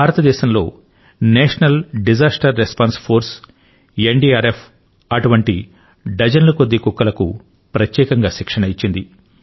భారతదేశంలో national disaster response force N DRF అటువంటి dozen ల కొద్దీ కుక్కలకు ప్రత్యేకంగా శిక్షణ ను ఇచ్చింది